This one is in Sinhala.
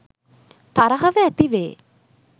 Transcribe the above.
තරහව ඇතිවේ.